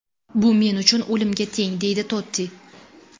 Bu men uchun o‘limga teng”, deydi Totti.